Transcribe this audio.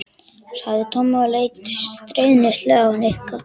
sagði Tommi og leit stríðnislega á Nikka.